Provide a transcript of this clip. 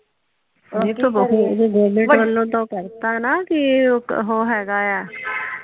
government ਵਲੋਂ ਤਾਂ ਉਹ ਕਰਤਾ ਨਾ ਕੀ ਉਹ ਹੇਗਾ ਆ